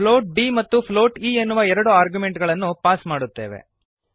float d ಮತ್ತು float e ಎನ್ನುವ ಎರಡು ಆರ್ಗ್ಯುಮೆಂಟುಗಳನ್ನು ಪಾಸ್ ಮಾಡುತ್ತೇವೆ